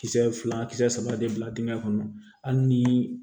Kisɛ fila kisɛ saba de bila dingɛ kɔnɔ hali ni